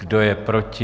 Kdo je proti?